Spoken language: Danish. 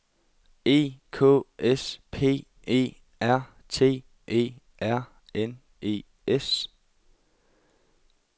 E K S P E R T E R N E S